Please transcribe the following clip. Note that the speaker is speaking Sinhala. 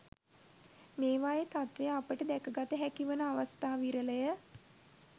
මේවායේ තත්ත්වය අපට දැක ගත හැකි වන අවස්ථා විරල ය.